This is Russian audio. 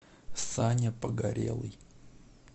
саня погорелый